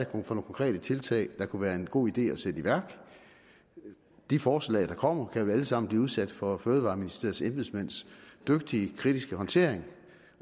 konkrete tiltag der kunne være en god idé at sætte i værk de forslag der kommer kan vel alle sammen blive udsat for fødevareministeriets embedsmænds dygtige kritiske håndtering